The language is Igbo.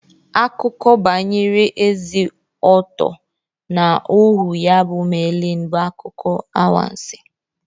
Akụkọ banyere Eze Ọttọ na ohu ya bụ Melịn bụ akụkọ anwansi.